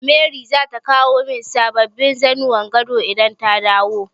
Mary zata kawo min sababbin zannuwan gado idan ta dawo.